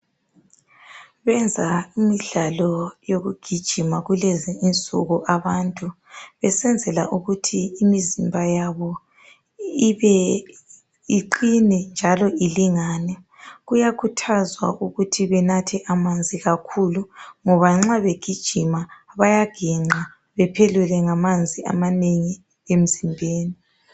Benza imidlalo yokugijima kulezi insuku abantu besenzela ukuthi imizimba yabo ibe iqine njalo ilingane kuyakhuthazwa ukuthi benathe amanzi kakhulu ngoba nxa begijima bayaginqa bephelelwe ngamanzi amanengi emzimbeni